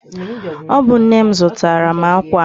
Ọ bụ nne m zụtara m akwa a?